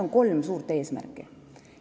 On kolm suurt eesmärki.